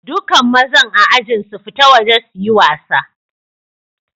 Dukan mazan a'ajin su fita waje su yi wasa.